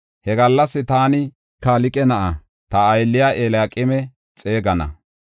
He gallas taani Kalqe na7aa, ta aylliya Eliyaqeeme xeegana.